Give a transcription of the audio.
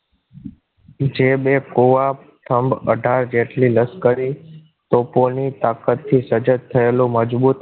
જે બે કોવાબ સ્તંભ અઢાર જેટલી લશ્કરી તોપોની તાકાતથી સજત થયેલો મજબૂત અને